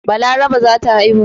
Balaraba za ta haihu.